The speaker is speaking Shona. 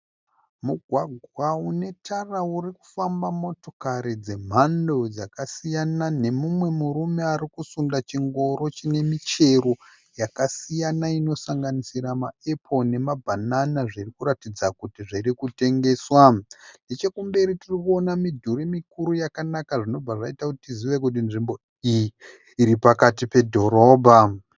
Mugwagwa unetara urikufamba motokari dzemhando dzakasiyana nemumwe murume arikusunda chingoro chine michero yakasiyana inosanganisira maepoo nemabhanana zvirikuratidza kuti zvirikutengeswa. Nechekumberi tirikuona midhuri mikuru yakanaka zvinobva zvaita kuti tizive kuti nzvimbo iyi iripakati pedhorobha.